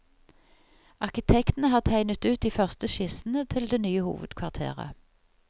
Arkitektene har tegnet ut de første skissene til det nye hovedkvarteret.